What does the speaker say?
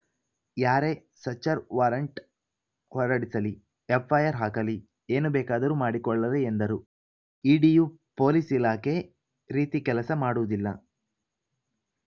ಯಾರೇ search warrant ಹೊರಡಿಸಲಿ FIR ಹಾಕಲಿ ಏನು ಬೇಕಾದರೂ ಮಾಡಿಕೊಳ್ಳಲಿ ಎಂದರು ಇಡಿಯು ಪೊಲೀಸ್‌ ಇಲಾಖೆ ರೀತಿ ಕೆಲಸ ಮಾಡುವುದಿಲ್ಲ